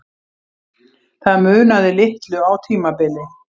Það munaði litlu á tímabili.